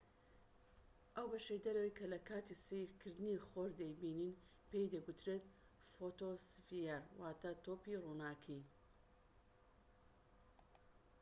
ئەو بەشەی دەرەوەی کە لە کاتی سەیرکردنی خۆر دەیبینین پێی دەگوترێت فۆتۆسفیەر، واتە"تۆپی ڕووناکى